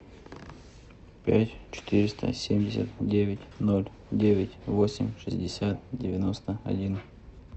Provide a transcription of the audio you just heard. пять четыреста семьдесят девять ноль девять восемь шестьдесят девяносто один